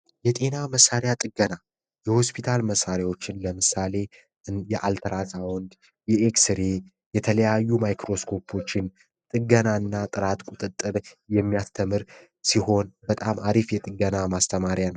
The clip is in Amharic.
የመሳሪያ ጥገና የሆስፒታል መሳሪያዎችን ለምሳሌ የአልጠዉን የኤክስ የተለያዩ ማይክሮስኮችን ጥገናና ጥራት ቁጥጥር የሚያስተምር ሲሆን በጣም አሪፍ የገና ማስተማሪያን ነው